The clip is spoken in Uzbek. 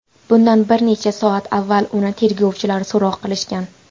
Bundan bir necha soat avval uni tergovchilar so‘roq qilishgan.